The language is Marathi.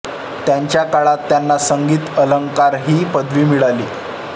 त्याच काळात त्यांना संगीत अलंकार ही पदवी मिळाली